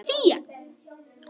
Fía